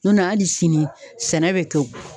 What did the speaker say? hali sini sɛnɛ bɛ to